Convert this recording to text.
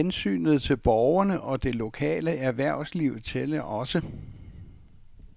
Hensynet til borgerne og det lokale erhvervsliv tællerogså.